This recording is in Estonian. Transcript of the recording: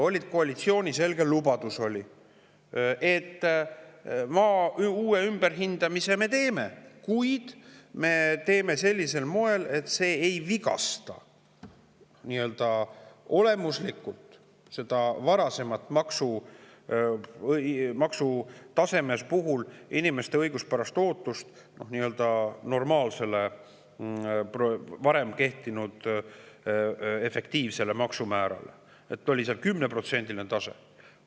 Oli koalitsiooni selge lubadus, et maa uue hindamise me teeme, kuid me teeme seda sellisel moel, et see ei vigasta olemuslikult inimeste õiguspärast ootust, et nii-öelda normaalne, varem kehtinud efektiivne maksumäär – oli 10%‑line tase.